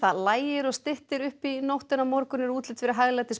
lægir og styttir upp í nótt en á morgun er útlit fyrir